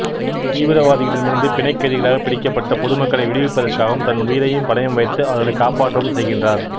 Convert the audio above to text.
தீவிரவாதிகளிடமிருந்து பிணைக்கைதிகளாகப் பிடிக்கப்பட்ட பொது மக்களை விடிவிப்பதற்காகத் தன் உயிரையும் பணயம் வைத்து அவர்களைக் காப்பாற்றவும் செய்கின்றார்